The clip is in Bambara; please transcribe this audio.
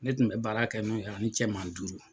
Ne tun bɛ baara kɛ n'o ye ani cɛma duuru.